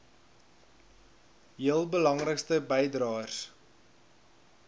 heel belangrikste bydraers